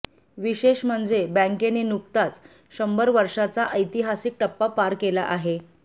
विशेष म्हणजे बँकेने नुकताच शंभर वर्षांचा ऐतिहासिक टप्पा पार केला आहे